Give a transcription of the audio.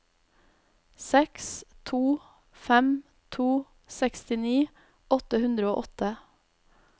seks to fem to sekstini åtte hundre og åtte